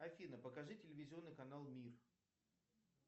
афина покажи телевизионный канал мир